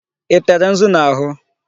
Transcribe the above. Ị tere nzu n'ahụ?